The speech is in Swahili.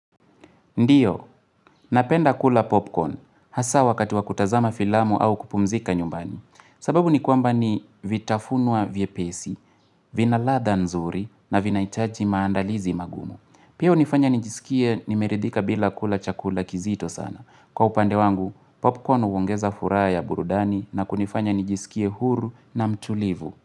Ndiyo, napenda kula popcorn, hasa wakati wa kutazama filamu au kupumzika nyumbani. Sababu ni kwamba ni vitafunwa vyepesi, vina ladha nzuri na vinahichaji maandalizi magumu. Piyo hunifanya nijiskie nimeridhika bila kula chakula kizito sana. Kwa upande wangu, popcorn huongeza furaha ya burudani na kunifanya nijisikie huru na mtulivu.